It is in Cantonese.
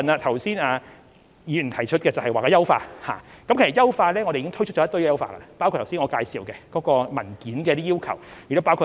其實，我們已經推出一系列優化措施，包括剛才我所介紹有關文件的要求及指引。